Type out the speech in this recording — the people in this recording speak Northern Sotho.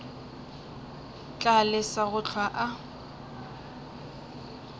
tla lesa go hlwa a